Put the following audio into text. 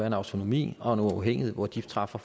en autonomi og en uafhængighed hvor de træffer